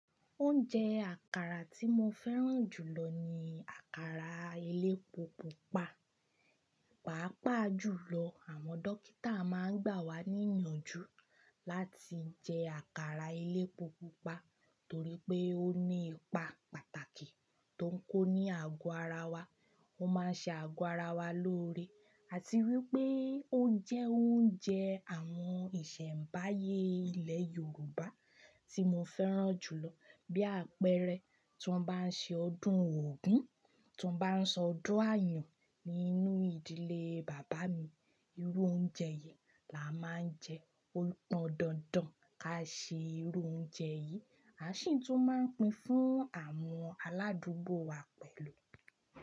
Oúnjẹ àkàrà tí mo fẹ́ràn jù lọ ni àkàrà elépo pupa, pàápàá jùlọ àwọn dókítà máa ń gbà wá ní ìyànjú láti jẹ àkàrà elépo pupa torí pé ó ní ipa pàtàkì tó ń kó ní àgọ́ ara wa, ó máa ń ṣe àgọ́ ara wa lóore àti wípé ó jẹ́ oúnjẹ àwọn ìṣẹ̀mbáyé ilẹ̀ Yorùbá tí mo fẹ́ràn jù lọ bí àpẹẹrẹ tí wọ́n bá ń ṣe ọdún Ògún, tí wọ́n bá ń ṣe ọdún Àyàn nínú ìdílé bàbá mi, irú oúnjẹ yìí la máa ń jẹ, ó pọn dandan ká ṣe irú oúnjẹ yìí, a sì tún máa ń pín fún àwọn aládùúgbò wa pẹ̀lú.